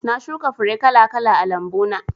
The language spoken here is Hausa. Na shuka fure kala kala a lambu na